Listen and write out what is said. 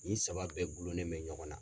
Nin saba bɛɛ gulonnen bɛ ɲɔgɔn na.